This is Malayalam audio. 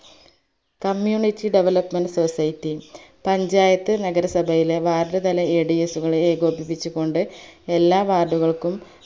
community development society പഞ്ചായത്ത് നഗരസഭയിലെ ward തല Ads കളെ ഏകോപിപിച്ചുകൊണ്ട് എല്ലാ ward കൾക്കും